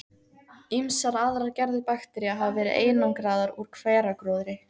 Ýmsar aðrar gerðir baktería hafa verið einangraðar úr hveragróðri.